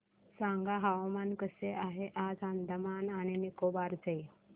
सांगा हवामान कसे आहे आज अंदमान आणि निकोबार चे